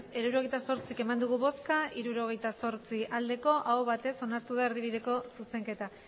hirurogeita zortzi eman dugu bozka hirurogeita zortzi bai aho batez onartu da erdibideko zuzenketa